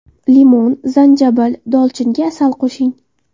Limon, zanjabil, dolchinga asal qo‘shing.